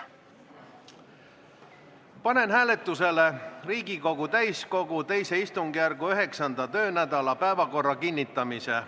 Panen hääletusele Riigikogu täiskogu II istungjärgu 9. töönädala päevakorra kinnitamise.